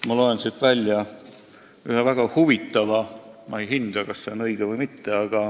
Ma loen siit välja ühe väga huvitava väite – ma ei hinda, kas see on õige või mitte.